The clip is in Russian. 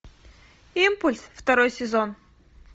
импульс второй сезон